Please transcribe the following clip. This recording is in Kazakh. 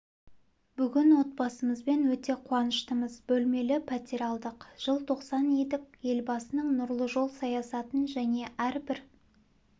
бүгін отбасымызбен өте қуаныштымыз бөлмелі пәтер алдық жыл тосқан едік елбасының нұрлы жол саясатын және әрбір